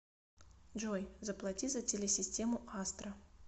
джой заплати за телесистему астра